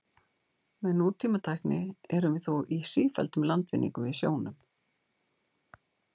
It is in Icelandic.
Með nútímatækni erum við þó í sífelldum landvinningum í sjónum.